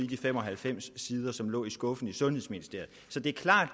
de fem og halvfems sider som lå i skuffen i sundhedsministeriet så det er klart